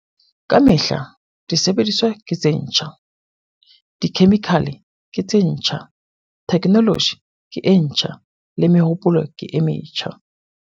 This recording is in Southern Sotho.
Ka mehla disebediswa ke tse ntjha, dikhemikhale ke tse ntjha, theknoloji ke e ntjha, le mehopolo ke e metjha.